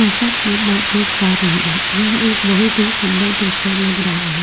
जैसा कि मैं देख पा रही हूं यह एक बहुत ही सुंदर दृश्य लग रहा है।